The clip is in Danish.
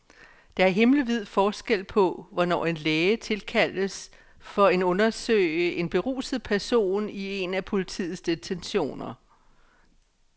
Der er himmelvid forskel på, hvornår en læge tilkaldes for en undersøge en beruset person i en af politiets detentioner.